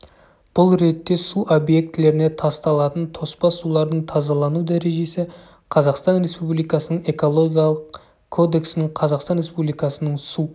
бұл ретте су объектілеріне тасталатын тоспа сулардың тазалану дәрежесі қазақстан республикасының экологиялық кодексінің қазақстан республикасының су